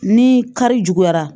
Ni kari juguyara